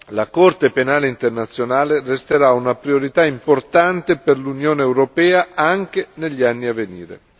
La Corte penale internazionale resterà una priorità importante per l'Unione europea anche negli anni a venire.